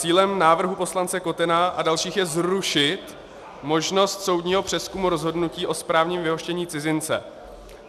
Cílem návrhu poslance Kotena a dalších je zrušit možnost soudního přezkumu rozhodnutí o správním vyhoštění cizince.